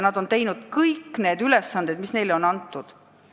Nad on täitnud kõik ülesanded, mis neile on antud.